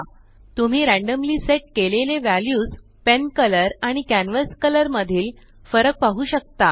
तुम्ही randomly set केलेले values pen colorआणि कॅनव्हास कलर मधील फरक पाहु शकता